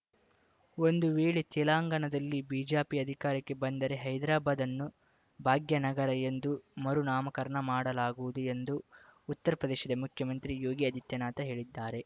ಒಂದು ವೇಳೆ ತೆಲಂಗಾಣದಲ್ಲಿ ಬಿಜೆಪಿ ಅಧಿಕಾರಕ್ಕೆ ಬಂದರೆ ಹೈದರಾಬಾದ್‌ ಅನ್ನು ಭಾಗ್ಯನಗರ ಎಂದು ಮರು ನಾಮಕರಣ ಮಾಡಲಾಗುವುದು ಎಂದು ಉತ್ತರ ಪ್ರದೇಶ ಮುಖ್ಯಮಂತ್ರಿ ಯೋಗಿ ಆದಿತ್ಯನಾಥ್‌ ಹೇಳಿದ್ದಾರೆ